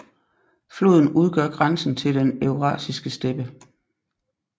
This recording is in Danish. Floden udgør grænsen til den eurasiske steppe